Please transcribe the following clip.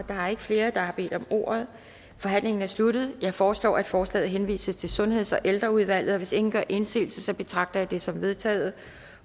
der er ikke flere der har bedt om ordet og forhandlingen er sluttet jeg foreslår at forslaget henvises til sundheds og ældreudvalget og hvis ingen gør indsigelse betragter jeg det som vedtaget